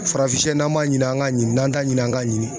Farafin shɛ na b'a ɲini an ka ɲini, n'an t'a ɲini an ka ɲini.